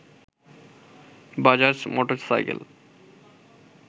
Bajaj motorcycle